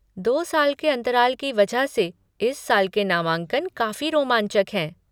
दो साल के अंतराल की वजह से इस साल के नामांकन काफ़ी रोमांचक हैं।